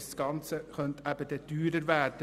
Das Ganze könnte also teurer werden.